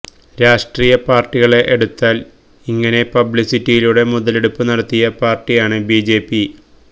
രാഷ്ട്രീയ പാര്ട്ടികളെ എടുത്താല് ഇങ്ങനെ പബ്ലിസിറ്റിയിലൂടെ മുതലെടുപ്പ് നടത്തിയ പാര്ട്ടിയാണ് ബിജെപി